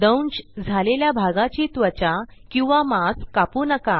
दंश झालेल्या भागाची त्वचा किंवा मांस कापू नका